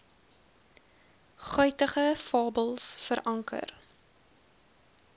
guitige fabels veranker